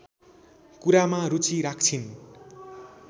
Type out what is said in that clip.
कुरामा रुचि राख्छिन्